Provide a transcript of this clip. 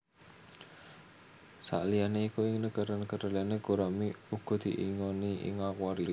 Saliyané iku ing nagara nagara liyané gurami uga diingoni ing akuarium